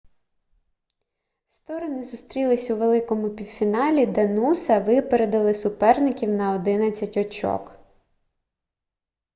сторони зустрілись у великому півфіналі де нуса випередили суперників на 11 очок